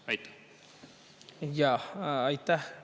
Jah, aitäh!